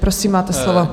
Prosím, máte slovo.